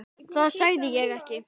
Það sagði ég ekki